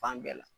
Fan bɛɛ la